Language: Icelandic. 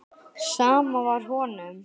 Sama var honum.